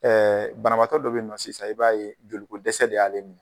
Ɛɛ banabaatɔ dɔw be yen nɔ sisan i b'a ye joli ko dɛsɛ de y'ale minɛ.